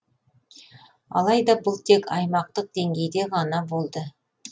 алайда бұл тек аймақтық деңгейде ғана болды